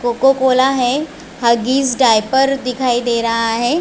Coca Cola है Huggies diaper दिखाई दे रहा है।